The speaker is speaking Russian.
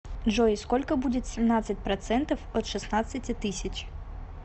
джой сколько будет семнадцать процентов от шестнадцати тысяч